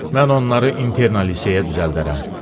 Mən onları internat liseyə düzəldərəm.